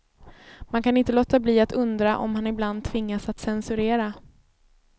Man kan inte låta bli att undra om han ibland tvingas att censurera.